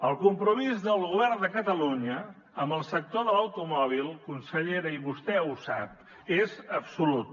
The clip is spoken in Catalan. el compromís del govern de catalunya amb el sector de l’automòbil consellera i vostè ho sap és absolut